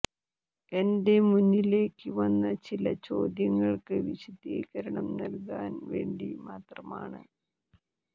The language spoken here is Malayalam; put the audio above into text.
എന്റെ മുന്നിലേക്ക് വന്ന ചില ചോദ്യങ്ങള്ക്ക് വിശദീകരണം നല്കാന് വേണ്ടി മാത്രമാണ്